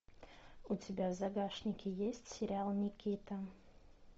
у тебя в загашнике есть сериал никита